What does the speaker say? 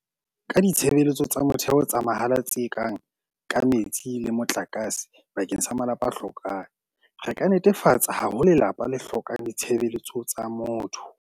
Ka ditshebeletso tsa motheo tsa mahala tse kang ka metsi le motlakase bakeng sa malapa a hlokang, re ka netefatsa ha ho lelapa le hlokang ditshebeletso tsa motho.